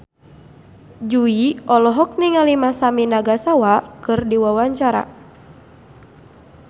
Jui olohok ningali Masami Nagasawa keur diwawancara